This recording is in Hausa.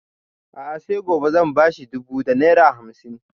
A'a sai gobe zan ba shi dubu da naira hamsin